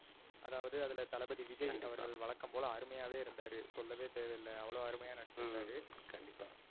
அதாவது அதுல தளபதி விஜய். கண்டிப்பா. அவர்கள் வந்து வழக்கம் போல அருமையாவே இருந்தாரு. சொல்லவே தேவைஇல்ல அவ்ளோ அருமையா நடிச்சி ஹம் இருந்தாரு. கண்டிப்பா.